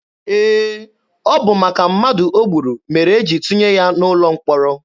Ee, ọ bụ maka mmadụ o gburu mere e jiri tụnye ya n'ụlọ mkpọrọ.